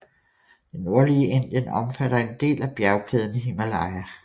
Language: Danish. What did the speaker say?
Det nordlige Indien omfatter en del af bjergkæden Himalaya